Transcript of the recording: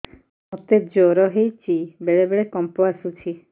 ମୋତେ ଜ୍ୱର ହେଇଚି ବେଳେ ବେଳେ କମ୍ପ ଆସୁଛି